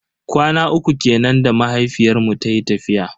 Kwana uku kenan da mahaifiyar mu tayi tafiya.